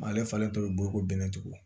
Ale falen tɔ bɛ bolo ko bɛn tugu